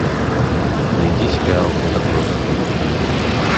найди сериал отбросы